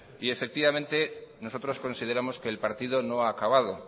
y efectivamente nosotros consideramos que el partido no ha acabado